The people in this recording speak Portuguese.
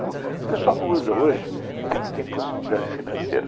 O pessoal não usa hoje porque não tem possibilidade financeira.